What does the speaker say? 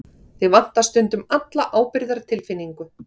Þig vantar stundum alla ábyrgðartilfinningu.